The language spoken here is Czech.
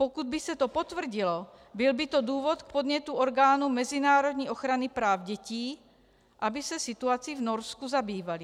Pokud by se to potvrdilo, byl by to důvod k podnětu orgánům mezinárodní ochrany práv dětí, aby se situací v Norsku zabývaly.